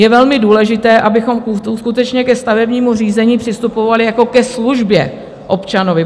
Je velmi důležité, abychom skutečně ke stavebnímu řízení přistupovali jako ke službě občanovi.